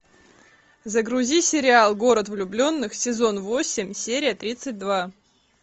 загрузи сериал город влюбленных сезон восемь серия тридцать два